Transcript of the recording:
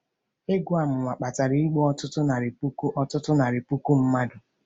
Egwu amụma kpatara igbu ọtụtụ narị puku ọtụtụ narị puku mmadụ.